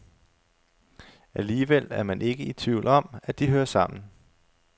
Alligevel er man ikke i tvivl om, at de hører sammen.